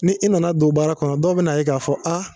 Ni i nana don baara kɔnɔ dɔw be na ye k'a fɔ a